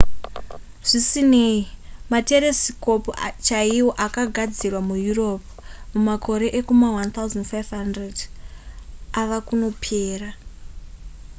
zvisinei materesikopu chaiwo akagadzirwa mueurope mumakore ekuma1500 ava kunopera